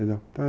Entendeu?